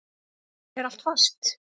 Er allt fast?